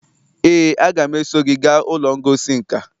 ee, aga m eso gị gaa ụlọ ngosi nka